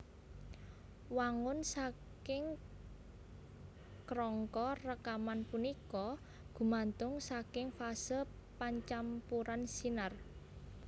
Wangun saking krangka rekaman punika gumatung saking fase pancampuran sinar